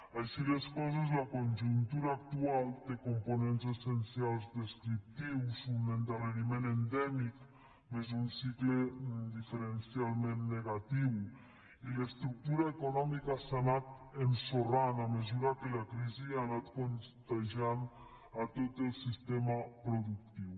així les coses la conjuntura actual té components essencials descriptius un endarreriment endèmic més un ci cle diferencialment negatiu i l’estructura econòmica s’ha anat ensorrant a mesura que la crisi ha anat contagiant tot el sistema productiu